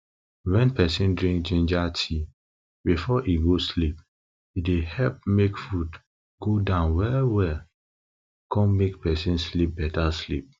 wen peson drink ginger tea before e go sleep e dey help make food go down well well come make person sleep beta sleep